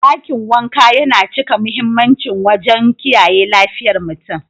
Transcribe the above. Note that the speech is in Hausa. Dakin wanka yana cika mahimmanci wajen kiyaye lafiyar mutum.